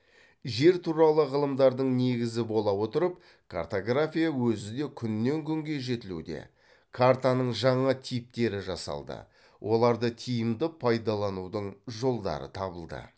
жер туралы ғылымдардың негізі бола отырып картография өзі де күннен күнге жетілуде картаның жаңа типтері жасалды оларды тиімді пайдаланудың жолдары табылды